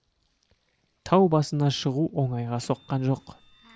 тау басына шығу оңайға соққан жоқ